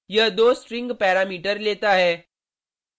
यह दो string parameter लेता है